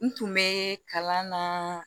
N tun bɛ kalan na